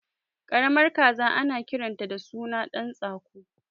Karamar kaza ana kiranta da suna ɗan tsako